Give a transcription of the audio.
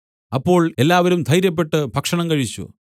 അപ്പോൾ എല്ലാവരും ധൈര്യപ്പെട്ട് ഭക്ഷണം കഴിച്ചു